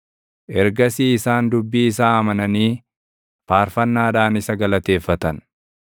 Ergasii isaan dubbii isaa amananii faarfannaadhaan isa galateeffatan.